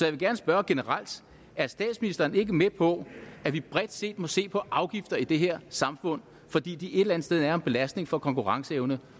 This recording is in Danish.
vil gerne spørge generelt er statsministeren ikke med på at vi bredt set må se på afgifter i det her samfund fordi de et eller andet sted er en belastning for konkurrenceevne